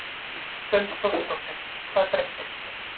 Hrund Þórsdóttir: Hvað breyttist?